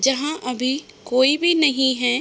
जहाँ अभी कोई भी नहीं है |